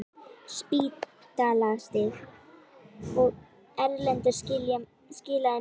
Spítalastíg, og Erlendur skilaði mér heim!